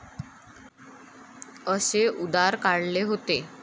असे उद्गार काढले होते.